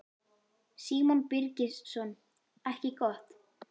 Símon Birgisson: Ekki gott?